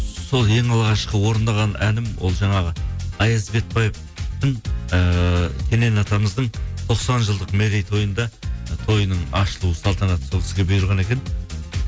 сол ең алғашқы орындаған әнім ол жаңағы аяз светпаевтың ыыы келең атамыздың тоқсан жылдық мерейтойында тойының ашылу салтанаты сол кісіге бұйырған екен